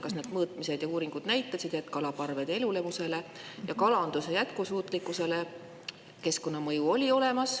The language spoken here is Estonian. Kas need mõõtmised ja uuringud näitasid, et keskkonnamõju kalaparvede elulemusele ja kalanduse jätkusuutlikkusele on olemas?